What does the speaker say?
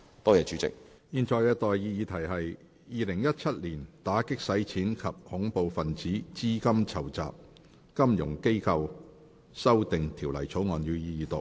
我現在向各位提出的待議議題是：《2017年打擊洗錢及恐怖分子資金籌集條例草案》，予以二讀。